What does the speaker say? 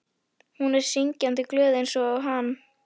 Hún er syngjandi glöð einsog hann.